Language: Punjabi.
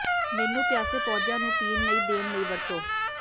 ਮੈਨੂੰ ਪਿਆਸੇ ਪੌਦਿਆਂ ਨੂੰ ਪੀਣ ਲਈ ਦੇਣ ਲਈ ਵਰਤੋ